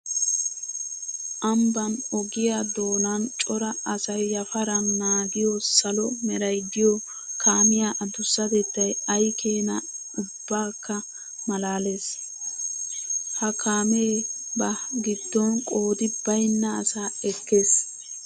Ambban ogiya doonan cora asay yafaran naagiyo salo meray de'iyo kaamiya adusatettay ayi keene ubbakka malaales. Ha kaame ba gidon qoodi baynna asaa ekkees.